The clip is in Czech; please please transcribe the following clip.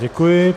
Děkuji.